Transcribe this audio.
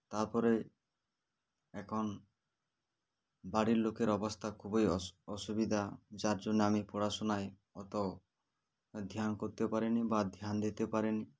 তারপরে এখন বাড়ির লোকের অবস্থা খুবই অসু অসুবিধা যার জন্য আমি পড়াশোনায় অত ধ্যান করতে পারিনি বা ধ্যান দিতে পারিনি